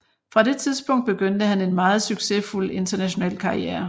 Fra det tidspunkt begyndte han en meget succesfuld international karriere